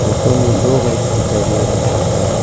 दो बाइक दिखाई दे रहा है।